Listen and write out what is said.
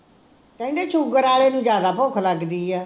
ਕਹਿੰਦੇ ਸ਼ੂਗਰ ਆਲੇ ਨੂੰ ਜ਼ਿਆਦਾ ਭੁੱਖ ਲਗਦੀ ਐ?